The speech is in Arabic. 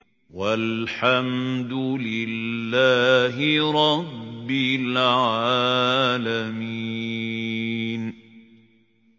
وَالْحَمْدُ لِلَّهِ رَبِّ الْعَالَمِينَ